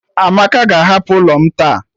Amaka ga-ahapụ ụlọ m taa.